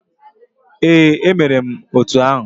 Ee, emere m otu ahụ.